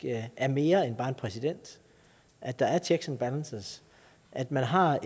er mere end bare en præsident at der er checks and balances at man har